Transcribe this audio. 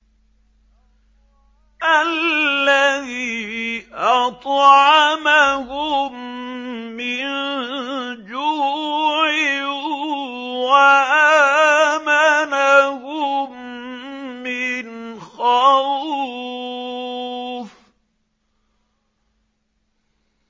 الَّذِي أَطْعَمَهُم مِّن جُوعٍ وَآمَنَهُم مِّنْ خَوْفٍ